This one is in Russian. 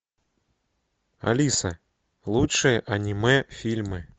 алиса лучшие аниме фильмы